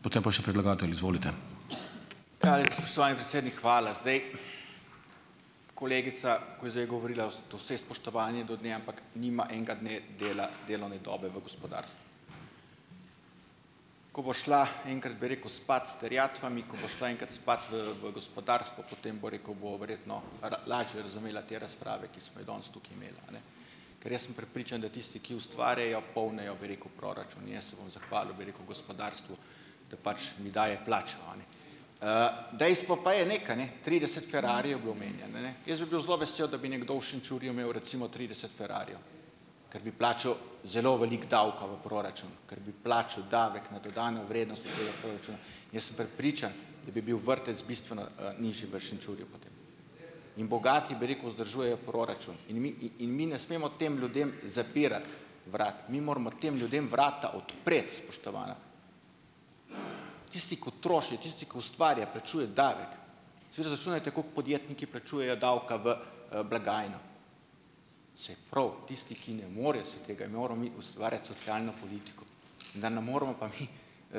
Spoštovani predsednik, hvala. Zdaj, kolegica, ko je zdaj govorila, z vsem spoštovanjem do nje, ampak nima enega dne delovne dobe v gospodarstvu. Ko bo šla enkrat, bi rekel, spat s terjatvami, ko bo šla enkrat spat, v gospodarstvo, potem, bom rekel, bo verjetno lažje razumela te razprave, ki smo jih danes tukaj imeli, a ne. Ker jaz sem prepričan, da tisti, ki ustvarjajo polnijo, bi rekel, proračun. In jaz se bom zahvalil, bi rekel, gospodarstvu, da pač mi daje plačo, a ne. Dejstvo pa je nekaj, ne, trideset ferrarijev je bilo omenjeno, ne. Jaz bi bil zelo vesel, da bi nekdo v Šenčurju imel, recimo trideset ferrarijev, ker bi plačal zelo veliko davka v proračun, ker bi plačal davek na dodano vrednost v proračunu. Jaz sem prepričan, da bi bil vrtec bistveno, nižji v Šenčurju. In bogati, bi rekel, vzdržujejo proračun. In mi, in mi ne smemo tem ljudem zapirati vrat. Mi moramo tem ljudem vrata odpreti, spoštovana. Tisti, ko troši, tisti, ko ustvarja, plačuje davek. Zdaj, izračunajte, koliko podjetniki plačujejo davka v, blagajno. Saj prav, tisti, ki ne morejo si tega, in moramo mi ustvarjati socialno politiko. Ne moremo pa mi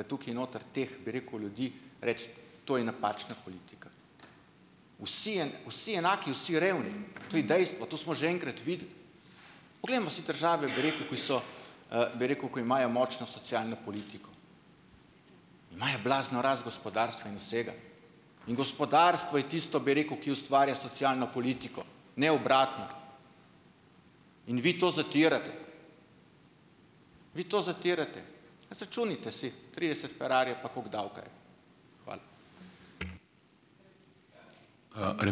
tukaj noter teh, bi rekel, ljudi reči, to je napačna politika. Vsi, vsi enaki, vsi revni, to je dejstvo, to smo že enkrat videli. Poglejmo si države, bi rekel, ki so, bi rekel, ko imajo močno socialno politiko. Imajo blazno rast gospodarstva in vsega. In gospodarstvo je tisto, bi rekel, ki ustvarja socialno politiko, ne obratno. In vi to zatirate. Vi to zatirate. Pa izračunajte si, trideset ferrarijev, pa koliko davka je to. Hvala.